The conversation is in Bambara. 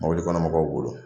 Mɔbili kɔnɔ mɔgɔw bolo